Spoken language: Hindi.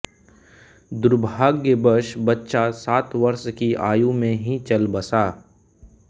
दुर्भाग्यवश बच्चा सात वर्ष की आयु में ही चल बसा